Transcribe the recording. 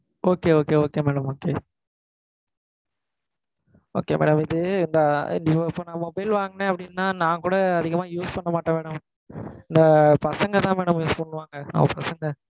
Okay okay okay madam okay. okay madam. இது, இந்த Vivo phone நான் mobile வாங்குனேன் அப்படினா, நான் கூட அதிகமா use பண்ண மாட்டேன் madam. இந்த பசங்க தான் madam use பண்ணுவாங்க.